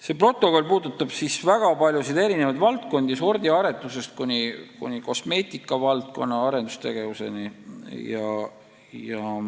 See protokoll puudutab väga paljusid ja erinevaid valdkondi sordiaretusest kuni kosmeetika valdkonna arendustegevuseni.